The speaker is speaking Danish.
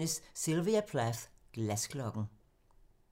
01:00: Sylvia Plath - Glasklokken *